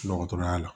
Dɔgɔtɔrɔya la